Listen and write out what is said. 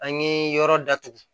An ye yɔrɔ datugu